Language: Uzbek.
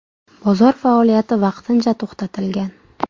Bozor faoliyati vaqtincha to‘xtatilgan.